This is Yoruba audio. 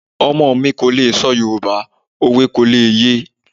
Ọmọ mi kò lè sọ Yoruba, òwe kò lè ye.